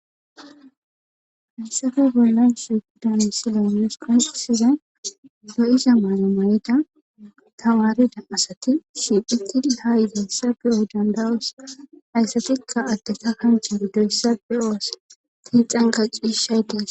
Haysafe gollan su daansilyoones qonqosize do7isa maalamayeta tamarida asati shiiphiti ha yizayssa be7oo dandawoos hayssatikka adte ka kanche doyssa be7oos tiixanqa ciishay dees.